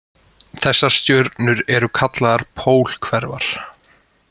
Þessar stjörnur eru kallaðar pólhverfar.